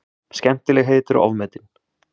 Skemmtilegheit eru ofmetin.